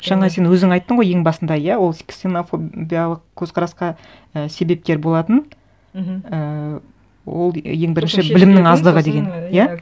жаңа сен өзің айттың ғой ең басында иә ол ксенофобиялық көзқарасқа і себепкер болатын мхм ііі ол ең бірінші білімнің аздығы деген иә